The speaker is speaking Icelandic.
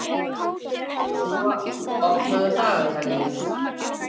Joshua, opnaðu dagatalið mitt.